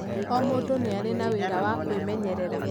O mũndũ nĩ arĩ na wĩra wa kwĩmenyerera.